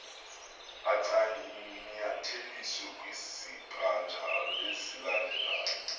ancanyatheliswe kwisibanjalo esilandelyo